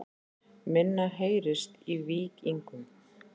Minna heyrist í Víkingum